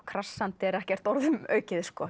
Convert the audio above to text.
krassandi er ekkert orðum aukið